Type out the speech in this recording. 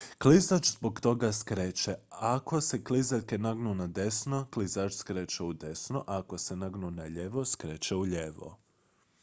klizač zbog toga skreće ako se klizaljke nagnu nadesno klizač skreće udesno a ako se nagnu nalijevo skreće ulijevo